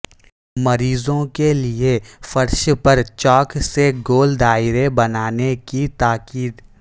مریضوں کے لئے فرش پر چاک سے گول دائرے بنانے کی تاکید